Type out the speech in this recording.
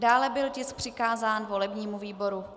Dále byl tisk přikázán volebnímu výboru.